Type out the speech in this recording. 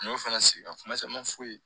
N y'o fɛnɛ sigi ka kuma caman f'u ye